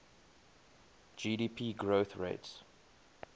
gdp growth rates